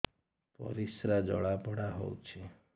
ପରିସ୍ରା ଜଳାପୋଡା ହଉଛି